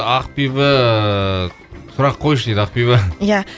ақбибі сұрақ қойшы дейді ақбибі иә